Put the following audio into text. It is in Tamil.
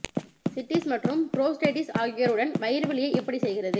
சிஸ்ட்டிஸ் மற்றும் புரோஸ்டேடிடிஸ் ஆகியோருடன் வயிறு வலியை எப்படிச் செய்கிறது